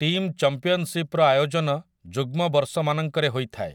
Team ଚମ୍ପିଅନସିପ୍‌ର ଆୟୋଜନ ଯୁଗ୍ମ ବର୍ଷମାନଙ୍କରେ ହୋଇଥାଏ ।